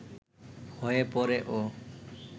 হয়ে পড়ে ও